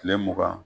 Kile mugan